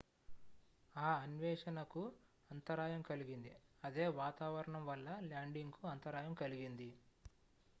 ఆ అన్వేషణ కు అంతరాయం కలిగింది అదే వాతావరణం వల్ల ల్యాండింగ్ కు అంతరాయం కలిగింది